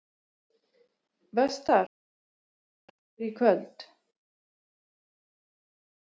Vestar, hvaða leikir eru í kvöld?